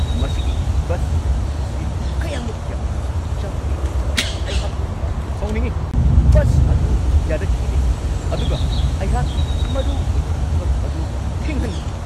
ꯃꯁꯤꯒꯤ bus service ꯑꯁꯤ ꯀꯌꯥꯝꯃꯨꯛ ꯌꯥꯝꯅ ꯅꯥꯇꯩ ꯆꯥꯗꯒꯦ ꯍꯥꯏꯕꯗ ꯑꯩꯍꯥꯛ ꯌꯥꯝꯅ ꯁꯥꯎꯅꯤꯡꯉꯤ ꯫ ꯕꯁ ꯑꯗꯨ ꯌꯥꯔꯛꯈꯤꯗꯦ ꯑꯗꯨꯒ ꯑꯩꯍꯥꯛꯀꯤ ꯃꯔꯨꯑꯣꯏꯕ ꯊꯕꯛ ꯑꯗꯨꯁꯨ ꯊꯦꯡꯍꯟꯈꯤ ꯫